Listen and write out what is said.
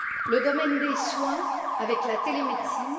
le domaine des soins, avec la télémédecine